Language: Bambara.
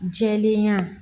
Jɛlenya